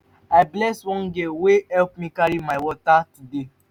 i bless one girl wey help me carry my water today